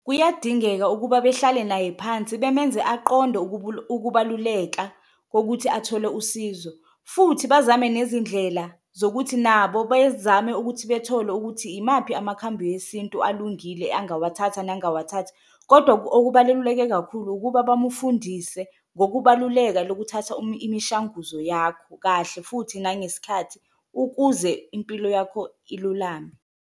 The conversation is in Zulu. Kuyadingeka ukuba behlale naye phansi bemenze aqonde ukubaluleka kokuthi athole usizo futhi bazame nezindlela zokuthi nabo bezame ukuthi, bethole ukuthi imaphi amakhambi wesintu alungile angawathatha nangawathathi. Kodwa okubaluleke kakhulu ukuba bamufundise ngokubaluleka lokuthatha imishanguzo yakho kahle futhi nangesikhathi ukuze impilo yakho ululame.